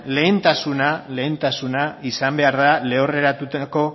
lehentasuna izan behar da lehorreratutako